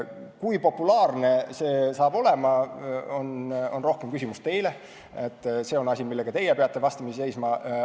Kui populaarne see oleks, on rohkem küsimus teile, sest see on asi, millega teie peate vastamisi seisma.